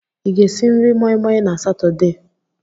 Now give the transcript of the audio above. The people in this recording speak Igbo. Ị ga-esi nri moi moi na Satọde?